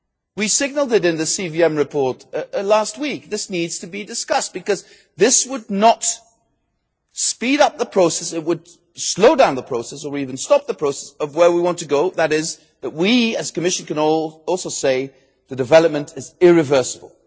We signalled it in the CVM report last week. This needs to be discussed because it would not speed up the process. It would slow down the process or even stop the process of where we want to go, namely to the point where we, the Commission, can also say that the development is irreversible.